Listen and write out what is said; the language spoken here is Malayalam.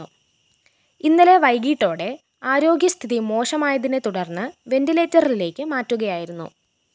ഇന്നലെ വൈകിട്ടോടെ ആരോഗ്യസ്ഥിതി മോശമായതിനെ തുടര്‍ന്ന് വെന്റിലേറ്ററിലേക്ക് മാറ്റുകയായിരുന്നു